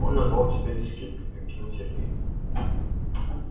он назвал тебя дискеткой объяснил сергей